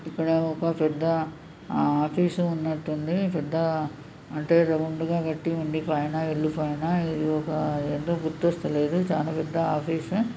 ఇక్కడ ఒక పెద్ద ఆఫీసు ఉన్నట్టు ఉంది పెద్ద అంటే రౌండ్ కట్టి ఉంది పైన ఇల్లు పైన ఇది ఒక ఏదో గుర్తొస్త లేదు చాలా పెద్ద ఆఫీసు.